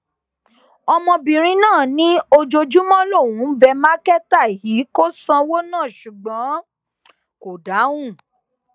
ọmọbìnrin náà ní ojoojúmọ lòún ń bẹ mákẹta yìí kó sanwó náà ṣùgbọn kò dáhùn